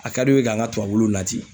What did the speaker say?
A ka di u ye k'an ka tubabuw nati